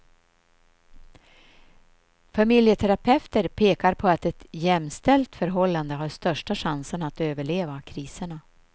Familjeterapeuter pekar på att ett jämställt förhållande har största chanserna att överleva kriserna.